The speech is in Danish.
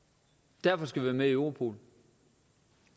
derfor skal vi være med i europol